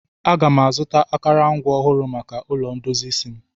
M ga-azụta akụrụngwa ọhụrụ maka ụlọ ndozi isi m